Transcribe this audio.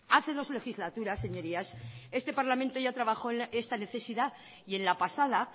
hace dos legislaturas señorías este parlamento ya trabajó esta necesidad y en la pasada